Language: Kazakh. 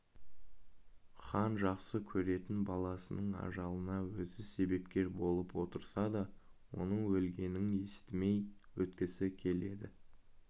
хан жақсы көретін баласының ажалына өзі себепкер болып отырса да оның өлгенін естімей өткісі келеді